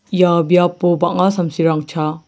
ia biapo bang·a samsirang chaa.